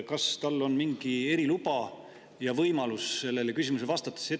Kas tal on mingi eriluba ja võimalus sellele küsimusele vastata?